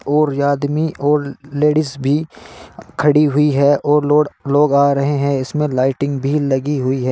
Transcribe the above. और ये आदमी और लेडीज भी खड़ी हुई है और लोग आ रहे हैं इसमें लाइटिंग भी लगी हुई है।